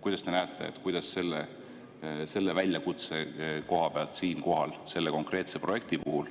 Kuidas te näete, kuidas selle väljakutse koha pealt selle konkreetse projekti puhul